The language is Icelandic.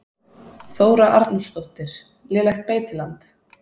Þóra Arnórsdóttir: Lélegt beitiland?